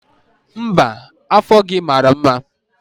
Mba, afọ gị mara mma.